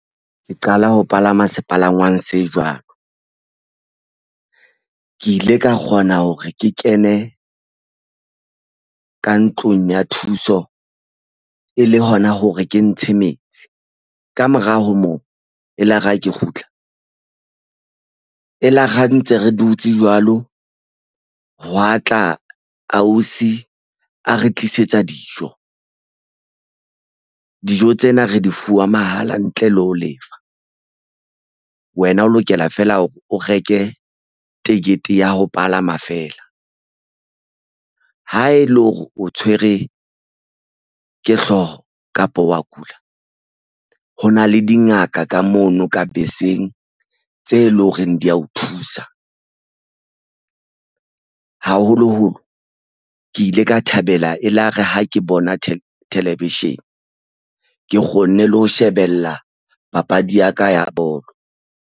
Ke qala ho palama sepalangwang se jwalo. Ke ile ka kgona hore ke kene ka ntlong ya thuso e le hona hore ke ntshe metsi. Kamora ho moo, elare ha ke kgutla e la re ntse re dutse jwalo. Hwa tla ausi a re tlisetsa dijo. Dijo tsena re di fuwa mahala ntle le ho lefa. Wena o lokela feela hore o reke ticket-e ya ho palama feela. Ha e le hore o tshwere ke hlooho kapa wa kula. Ho na le dingaka ka mono ka beseng tse leng horeng di ya o thusa. Haholoholo ke ile ka thabela elare ha ke bona television. Ke kgonne le ho shebella papadi ya ka ya bolo.